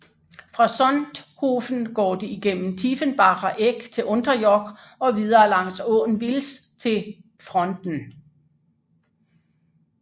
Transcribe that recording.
Fra Sonthofen går det igennem Tiefenbacher Eck til Unterjoch og videre langs åen Vils til Pfronten